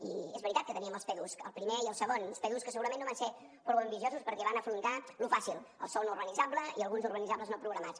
i és veritat que teníem els pdus el primer i el segon uns pdus que segurament no van ser prou ambiciosos perquè van afrontar lo fàcil el sòl no urbanitzable i alguns urbanitzables no programats